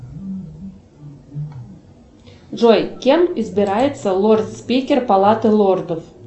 джой кем избирается лорд спикер палаты лордов